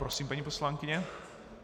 Prosím, paní poslankyně.